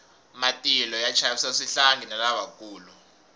matilo ya chavisa swihlangi na lavakulu